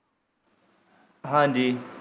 ਹਾਂਜੀ।